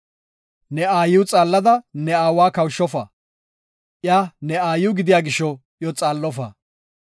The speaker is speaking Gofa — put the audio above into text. “Ne aayiw xaallada ne aawa kawushofa. Iya ne aayiw gidiya gisho iyo xaallofa.